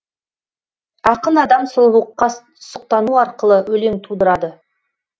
ақын адам сұлулыққа сұқтану арқылы өлең тудырады